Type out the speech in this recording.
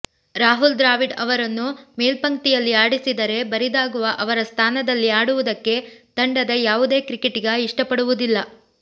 ರಾಹುಲ್ ದ್ರಾವಿಡ್ ಅವರನ್ನು ಮೇಲ್ಪಂಕ್ತಿಯಲ್ಲಿ ಆಡಿಸಿದರೆ ಬರಿದಾಗುವ ಅವರ ಸ್ಥಾನದಲ್ಲಿ ಆಡುವುದಕ್ಕೆ ತಂಡದ ಯಾವುದೇ ಕ್ರಿಕೆಟಿಗ ಇಷ್ಟಪಡುವುದಿಲ್ಲ